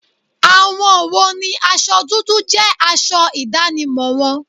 Àwọn wo ni aṣọ dúdú jẹ́ aṣọ ìdánimọ̀ wọn?